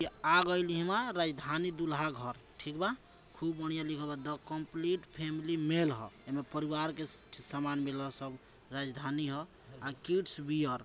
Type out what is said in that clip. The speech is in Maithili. इ आ गईनि ह राजधानी दुल्हा घर ठीक बा खूब बढ़िया लिखेला बा द कंप्लीट फैमिली मेल ह एमे परिवार के स-समान मिलेला सब राजधानी हां अ किड्स वियर --